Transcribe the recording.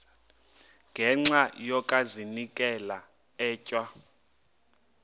ngenxa yokazinikela etywa